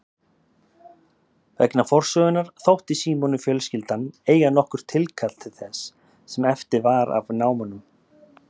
Vegna forsögunnar þótti Símoni fjölskyldan eiga nokkurt tilkall til þess sem eftir var af námunum.